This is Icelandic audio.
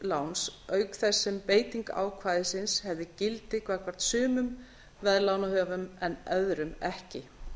láns auk þess sem beiting ákvæðisins hefði gildi gagnvart sumum veðlánahöfum en öðrum ekki